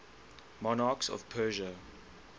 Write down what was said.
monarchs of persia